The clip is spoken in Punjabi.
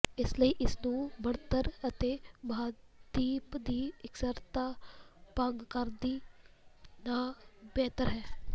ਇਸ ਲਈ ਇਸ ਨੂੰ ਬਣਤਰ ਅਤੇ ਮਹਾਦੀਪ ਦੀ ਇਕਸਾਰਤਾ ਭੰਗ ਕਰਨ ਦੀ ਨਾ ਬਿਹਤਰ ਹੈ